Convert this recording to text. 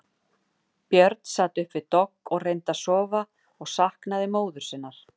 Björn sat upp við dogg og reyndi að sofa og saknaði móður sinnar.